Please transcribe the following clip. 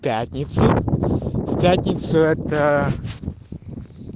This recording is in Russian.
пятницу в пятницу это